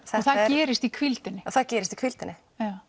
það gerist í hvíldinni það gerist í hvíldinni